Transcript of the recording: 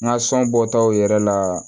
N ka sɔn bɔtaw yɛrɛ la